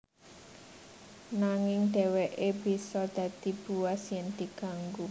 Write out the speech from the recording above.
Nanging dheweke bisa dadi buas yen diganggu